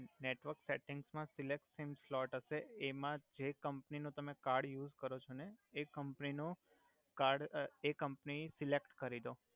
network settings મા સિલેકસિંગ slot હસે એમા જે કમ્પની નુ તમે કાર્ડ યુસ કરો છો ને એ કમ્પની નો કાર્ડ એ કમ્પની સેલેક્ટ કરી દો